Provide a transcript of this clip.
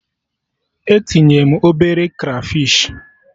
E tinye m obere krafish